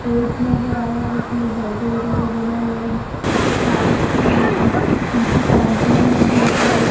Boards नजर आ रहे हैं जिसमें बर्गर वगैर बना हुआ है। कुछ लाईट्स हैं और पीछे काउन्टर है। ढेर सारे --